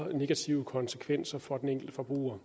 negative konsekvenser for den enkelte forbruger